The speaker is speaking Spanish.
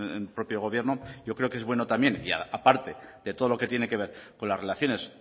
en el propio gobierno yo creo que es bueno también y aparte de todo lo que tiene que ver con las relaciones